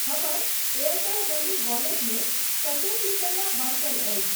हमर Airtel money wallet मे कतेक रुपया बाँचल अछि?